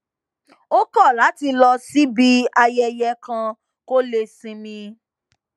ó kò láti lọ síbi ayẹyẹ kan kó lè sinmi